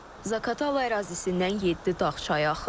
Zaqatala ərazisindən yeddi dağ çayı axır.